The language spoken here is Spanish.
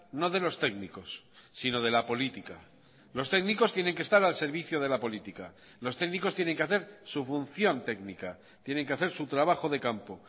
no de los técnicos sino de la política los técnicos tienen que estar al servicio de la política los técnicos tienen que hacer su función técnica tienen que hacer su trabajo de campo